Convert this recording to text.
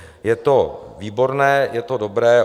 Je to výborné, je to dobré.